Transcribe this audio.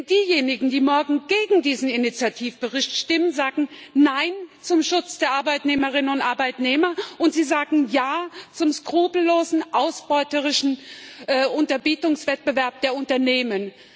Denn diejenigen, die morgen gegen diesen Initiativbericht stimmen, sagen Nein zum Schutz der Arbeitnehmerinnen und Arbeitnehmer, und sie sagen Ja zum skrupellosen ausbeuterischen Unterbietungswettbewerb der Unternehmen.